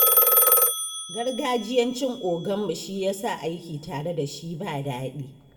Gargajiyancin oganmu shi ya sa aiki tare da shi ba daɗi.